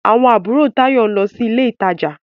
Àwọn àbúrò Táyọ̀ ń lọ sí ilé ìtajà.